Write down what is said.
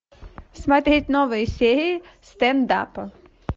смотреть новые серии стендапа